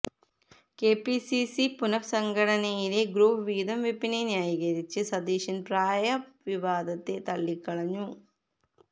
KPCC പുനസംഘടനയിലെ group വീതം വെപ്പിനെ ന്യായീകരിച്ച സതീശന് പ്രായ വിവാദത്തെ തള്ളി കളഞ്ഞു